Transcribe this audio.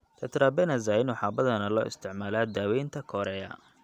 Tetrabenazine waxaa badanaa loo isticmaalaa daawaynta chorea.